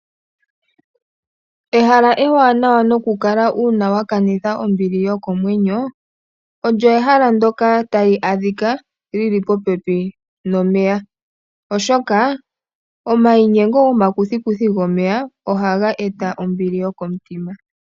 Ehala ewaanawa nokukala uuna wa kanitha ombili yokomwenyo olyo ehala ndoka tali adhika li li popepi nomeya oshoka omainyengo gomakuthikuthi gomeya ohaga eta ombili yokomutima.